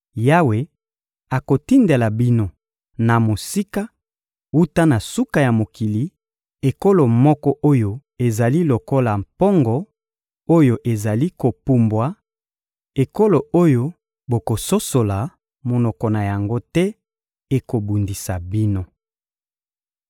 Yawe akotindela bino na mosika, wuta na suka ya mokili, ekolo moko oyo ezali lokola mpongo oyo ezali kopumbwa, ekolo oyo bokososola monoko na yango te; ekobundisa bino.